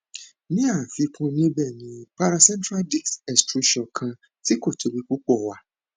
ni afikun nibẹ ni paracentral disc extrusion kan tí kò tóbi púpọ wà